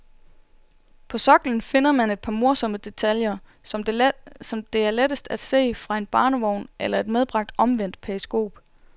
På soklen finder man et par morsomme detaljer, som det er lettest at se fra en barnevogn eller et medbragt omvendt periskop.